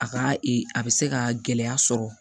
A ka ee a bɛ se ka gɛlɛya sɔrɔ